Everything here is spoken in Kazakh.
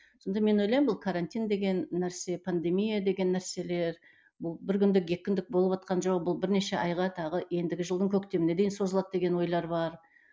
сонда мен ойлаймын бұл карантин деген нәрсе пандемия деген нәрселер бұл бір күндік екі күндік болыватқан жоқ бұл бірнеше айға тағы ендігі жылдың көктеміне дейін созылады деген ойлар бар